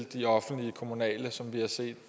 de offentliges og kommunales som vi har set